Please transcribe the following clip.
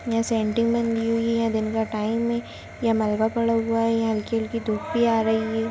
यहां सेंटिंग बन रही हुई है दिन का टाइम है यहां मलबा पड़ा हुआ है यहां हल्की-हल्की धूप भी आ रही है।